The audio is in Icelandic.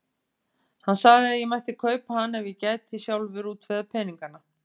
Hann sagði að ég mætti kaupa hann ef ég gæti sjálfur útvegað peningana.